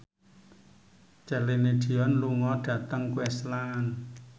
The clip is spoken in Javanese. Celine Dion lunga dhateng Queensland